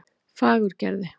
Fagurgerði